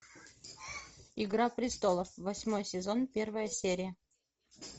игра престолов восьмой сезон первая серия